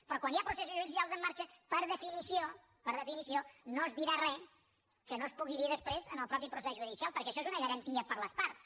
però quan hi ha processos judicials en marxa per definició per definició no es dirà res que no es pugui dir després en el mateix procés judicial perquè això és una garantia per a les parts